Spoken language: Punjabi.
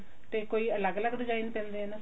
ਤੇ ਕੋਈ ਅਲੱਗ ਅਲੱਗ design ਪੈਂਦੇ ਆ ਇਹਨਾਂ ਤੇ